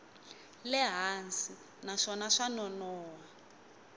le hansi naswona swa nonoha